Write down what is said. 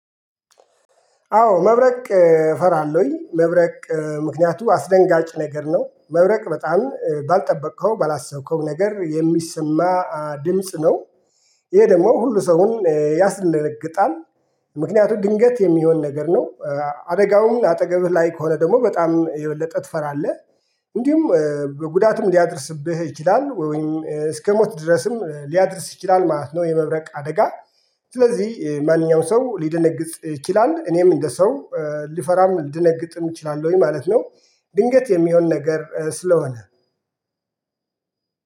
አዎ መብረቅ እፈራለሁኝ መብረቅ ምክንያቱም አስደንጋጭ ነገር ነው መብረቅ በጣም ባልጠበከው ባላሰብከው ነገር የሚሰማ ድምጽ ነው። ይሄ ደግሞ ሁሉ ሰውን ያስለግጣል። ምክንያቱም ግንገት የሚሆን ነገር ነው። አደጋውንም አጠገብህ ላይ ከሆነ ደግሞ በጣም የበለጠ ትፈራለህ። እንዲሁም ጉዳትም ሊያደርስብህ ይችላል ወይም እስከሞት ድረስም ሊያደርስ ይችላል ማለት ነው የመብረቅ አደጋ። ስለዚህ ማንኛውም ሰው ሊደነግጥ ይችላል። እኔም እንደ ሰው ልፈራም ልድነግጥም እችላለሁኝ ማለት ነው። ድንገት የሚሆን ነገር ስለሆነ